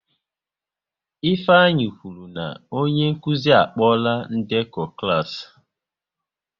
Ifeanyị kwụrụ na onye nkụzi a kpola ndekọ klas